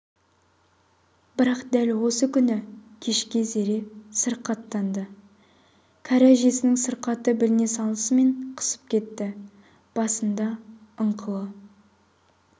бірақ дәл осы күні кешке зере сырқаттанды кәрі әженің сырқаты біліне салысымен қысып кетті басында ыңқылы